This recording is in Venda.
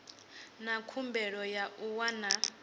na khumbelo ya u wana